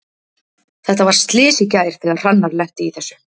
Þetta var slys í gær þegar Hrannar lenti í þessu.